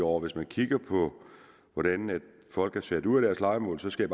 år hvis man kigger på hvordan folk er sat ud af deres lejemål så skal